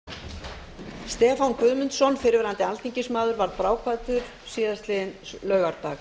nú verður minnst látins fyrrverandi alþingismanns stefán guðmundsson fyrrverandi alþingismaður varð bráðkvaddur síðastliðinn laugardag